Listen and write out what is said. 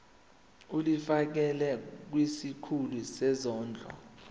ulifiakela kwisikulu sezondlo